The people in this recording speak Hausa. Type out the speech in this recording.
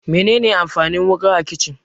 Mene ne amfanin wuƙa a kicin?